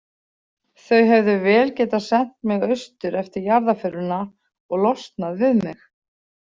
Þau hefðu vel getað sent mig austur eftir jarðarförina og losnað við mig.